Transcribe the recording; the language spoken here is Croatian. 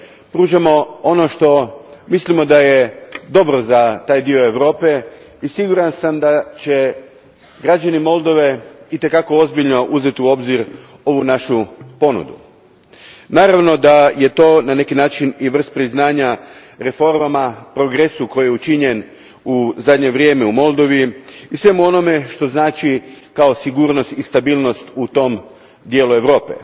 pružamo ono što mislimo da je dobro za taj dio Europe i siguran sam da će građani Moldove i te kako ozbiljno uzeti u obzir ovu našu ponudu. Naravno da je to na neki način i vrsta priznanja reformama, progresu koji je učinjen u zadnje vrijeme u Moldovi i svemu onome što znači kao sigurnost i stabilnost u tom dijelu Europe.